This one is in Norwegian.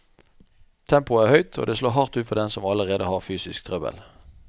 Tempoet er høyt, og det slår hardt ut for dem som allerede har fysisk trøbbel.